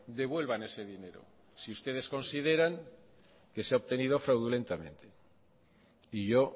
devuelvan ese dinero si ustedes consideran que se ha obtenido fraudulentamente y yo